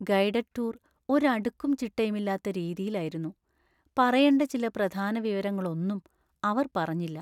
Guided tour ഒരു അടുക്കും ചിട്ടയുമില്ലാത്ത രീതിയിലായിരുന്നു, പറയണ്ട ചില പ്രധാന വിവരങ്ങളൊന്നും അവർ പറഞ്ഞില്ല.